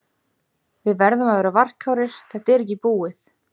Við verðum að vera varkárir, þetta er ekki búið.